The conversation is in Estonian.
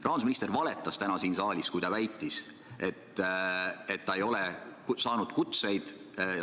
Rahandusminister valetas täna siin saalis, kui ta väitis, et ta ei ole saanud kutseid.